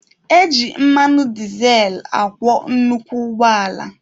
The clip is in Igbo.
Eji mmanụ dizel akwọ nnukwu ụgbọala.